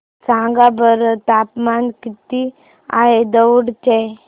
सांगा बरं तापमान किती आहे दौंड चे